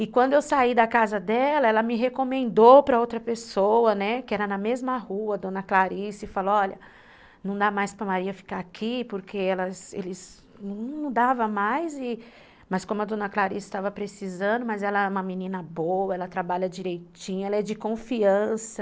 E quando eu saí da casa dela, ela me recomendou para outra pessoa, né, que era na mesma rua, a dona Clarice, e falou, olha, não dá mais para Maria ficar aqui, porque elas, eles, não dava mais, mas como a dona Clarice estava precisando, mas ela é uma menina boa, ela trabalha direitinho, ela é de confiança.